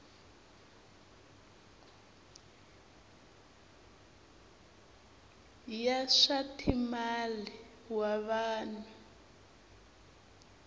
ya swa timal wa vanhu